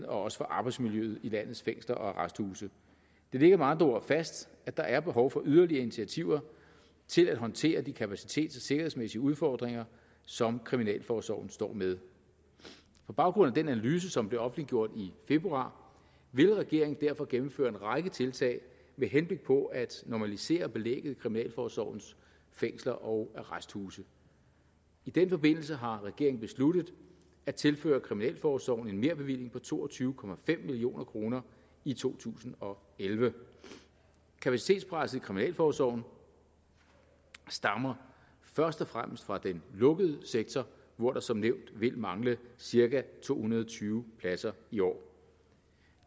også for arbejdsmiljøet i landets fængsler og arresthuse det ligger med andre ord fast at der er behov for yderligere initiativer til at håndtere de kapacitets og sikkerhedsmæssige udfordringer som kriminalforsorgen står med på baggrund af den analyse som blev offentliggjort i februar vil regeringen derfor gennemføre en række tiltag med henblik på at normalisere belægget i kriminalforsorgens fængsler og arresthuse i den forbindelse har regeringen besluttet at tilføre kriminalforsorgen en merbevilling på to og tyve million kroner i to tusind og elleve kapacitetspresset i kriminalforsorgen stammer først og fremmest fra den lukkede sektor hvor der som nævnt vil mangle cirka to hundrede og tyve pladser i år